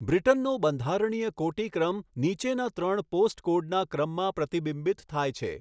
બ્રિટનનો બંધારણીય કોટિક્રમ નીચેના ત્રણ પોસ્ટકોડના ક્રમમાં પ્રતિબિંબિત થાય છે